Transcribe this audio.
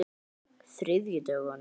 þriðjudögunum